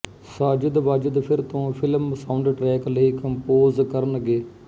ਸਾਜਿਦਵਾਜਿਦ ਫਿਰ ਤੋਂ film soundtrack ਲਈ ਕੰਪੋਜ਼ ਕਰਨਗੇ